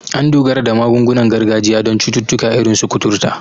An dogara da magungunan gargajiya don cututtuka irin su kuturta.